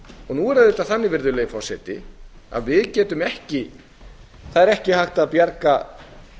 nú er það auðvitað þannig að það er ekki hægt að bjarga